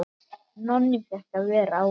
Nonni fékk að vera áfram.